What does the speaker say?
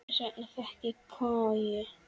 Þess vegna fékk ég koju.